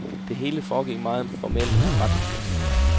Det hele foregik meget formelt og forretningsmæssigt.